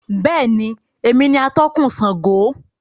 Bẹ́ẹ̀ni, èmi ni atọ̀kun Sángo